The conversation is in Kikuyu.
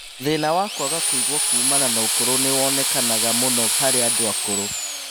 Thĩna wa kwaga kũigua kumana na ũkũrũ nĩwomenekaga mũno harĩ andũ akũrũ